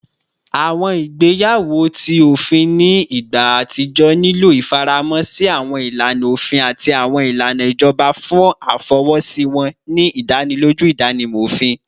Awọn igbeyawo ti ofin ni igba atijọ nilo ifaramọ si awọn ilana ofin ati awọn ilana ijọba fun afọwọsi wọn, ni idaniloju idanimọ ofin